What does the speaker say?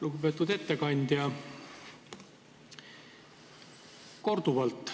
Lugupeetud ettekandja!